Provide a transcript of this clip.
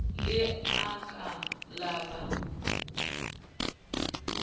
le a ka la ba